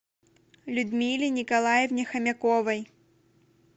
людмиле николаевне хомяковой